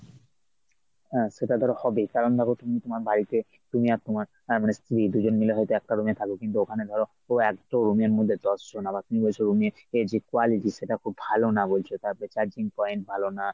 হ্যাঁ সেটা ধর হবেই কারণ, দেখ তুমি তোমার বাড়িতে তুমি আর তোমার আহ মানে স্ত্রী দু’জন মিলে হয়ত একটা room এ থাকো কিন্তু ওখানে ধর একটা room এর মধ্যে দশজন আবার তুমি বলছো room এর এ যে quality খুব ভালো না বলছো তারপরে charging point ভালো না।